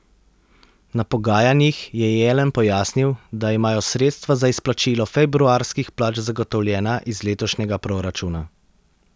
Na pogajanjih je Jelen pojasnil, da imajo sredstva za izplačilo februarskih plač zagotovljena iz letošnjega proračuna.